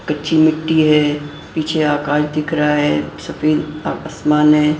कच्ची मिट्टी है पीछे आकाश दिख रहा है सफेद आसमान है।